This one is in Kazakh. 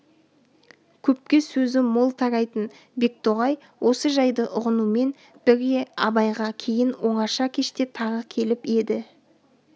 көпке сөзі мол тарайтын бектоғай осы жайды ұғынумен бірге абайға кейін оңаша кеште тағы келіп еді